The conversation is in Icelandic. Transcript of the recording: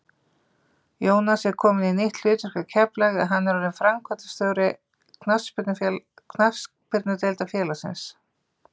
Jónas er kominn í nýtt hlutverk hjá Keflavík en hann er orðinn framkvæmdastjóri knattspyrnudeildar félagsins.